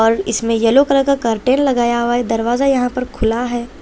और इसमें yellow colour का करटेन लगाया हुआ है दरवाजा यहां पर खुला है।